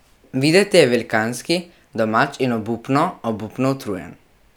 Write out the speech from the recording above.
Videti je velikanski, domač in obupno, obupno utrujen.